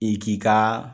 I k'i ka